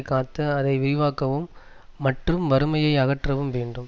காத்து அதை விரிவாக்கவும் மற்றும் வறுமையை அகற்றவும் வேண்டும்